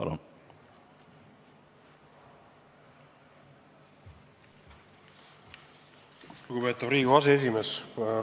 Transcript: Lugupeetav Riigikogu aseesimees!